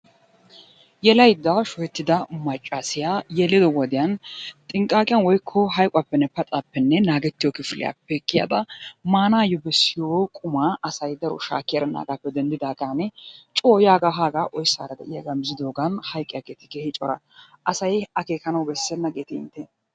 Yelaydda shuhettida maccassiyo yeliyo wodiyan xinqqaqiyan woykko hayqquwappenne paxappenne naagetiyo kifiliyappe kiyada maanayyo bessiyo qumma asay daro shaakki erenaage denddidaaga coo yaaga haaga oyssaara de'iyaaga miizidoogan hayqqiyaageeti keehi cora. asay akeekkanaw bessena geeti intte?